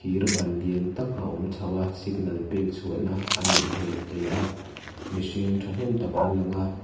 thir ban lian tak a awm chho a signal pek chhuah na anih hmel hle a mihring ṭhahnem tak an lang a.